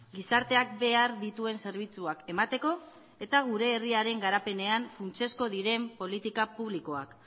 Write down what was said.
gizarteak behar dituen zerbitzuak emateko eta gure herriaren garapenean funtsezko diren politika publikoak